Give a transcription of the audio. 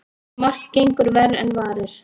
Margt gengur verr en varir.